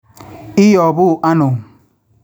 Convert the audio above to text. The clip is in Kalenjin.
Iyopuu ano?